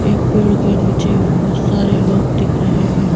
एक पेड़ के नीचे बहुत सारे लोग दिख रहे हैं।